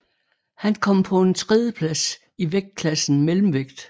Han kom på en tredieplads i vægtklassen mellemvægt